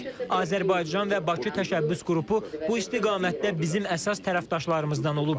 Azərbaycan və Bakı təşəbbüs qrupu bu istiqamətdə bizim əsas tərəfdaşlarımızdan olub.